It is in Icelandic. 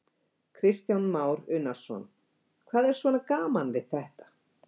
Kristján Már Unnarsson: Hvað er svona gaman við þetta?